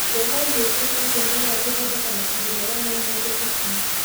Njogoo nĩ ĩteithagia mwera gũthondeka matũmbĩ marĩa maumagia tũcũi.